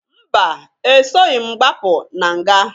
Mba! Esoghi m gbapụ na nga.